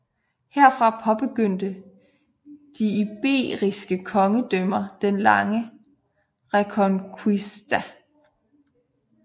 Herfra påbegyndte de iberiske kongedømmer den lange Reconquista